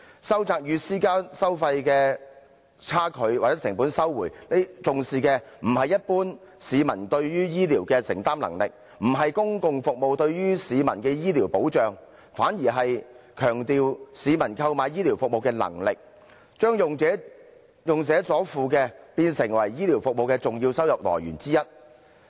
收窄與私營服務收費的差距或成本收回，重視的不是一般市民對於醫療的承擔能力，也不是公共服務對於市民的醫療保障，反而是強調市民購買醫療服務的能力，將用者所付變成醫療服務的重要收入來源之一。